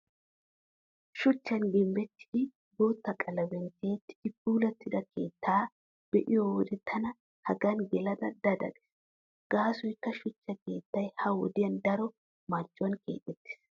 Shuchchan gimbbettidi bootta qalamiyaan tiyettidi puulattida keettaa be'iyo wode tana hegan gelada da da gees. Gaasoykka shuchcha keettay ha wodiyan daro marccuwan keexettees.